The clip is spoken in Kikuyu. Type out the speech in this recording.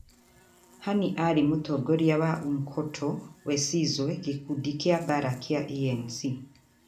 Hani aarĩ mũtongoria wa Umkhonto We Sizwe, gĩkundi kĩa mbaara kĩa ANC.